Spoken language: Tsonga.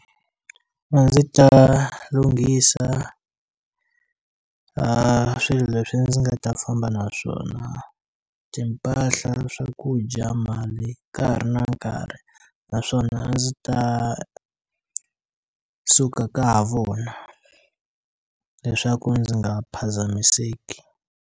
A ndzi ta lunghisa a swilo leswi ndzi nga ta famba naswona timpahla, swakudya, mali ka ha ri na nkarhi naswona a ndzi ta suka ka ha vona leswaku ndzi nga phazamiseki.